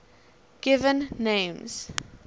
given names